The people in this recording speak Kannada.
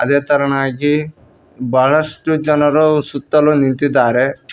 ಅದೇ ತರನಾಗಿ ಬಹಳಷ್ಟು ಜನರು ಸುತ್ತಲು ನಿಂತಿದ್ದಾರೆ.